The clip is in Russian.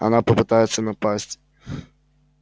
она попытается напасть